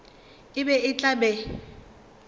e be e tla be